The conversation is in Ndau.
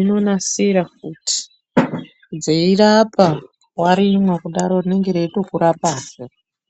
inonasira futi dzeirapa warimwa kudaro rinenge reitokurapazve.